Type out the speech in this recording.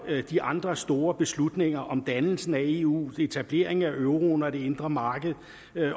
de andre store beslutninger om dannelsen af eu etableringen af euroen og det indre marked